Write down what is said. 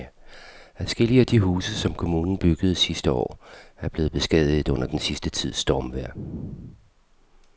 Adskillige af de huse, som kommunen byggede sidste år, er blevet beskadiget under den sidste tids stormvejr.